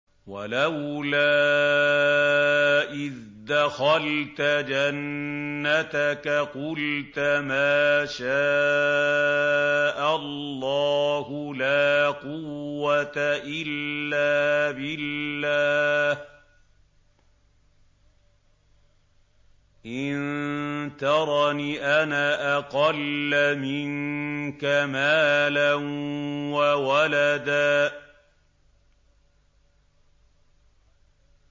وَلَوْلَا إِذْ دَخَلْتَ جَنَّتَكَ قُلْتَ مَا شَاءَ اللَّهُ لَا قُوَّةَ إِلَّا بِاللَّهِ ۚ إِن تَرَنِ أَنَا أَقَلَّ مِنكَ مَالًا وَوَلَدًا